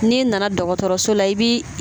N'i nana dɔgɔtɔrɔso la i bi